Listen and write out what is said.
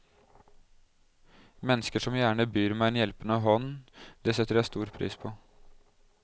Mennesker som gjerne byr meg en hjelpende hånd, det setter jeg stor pris på.